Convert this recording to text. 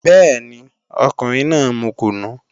Bẹ́ẹ̀ni, ọkùnrin náà mu kùnú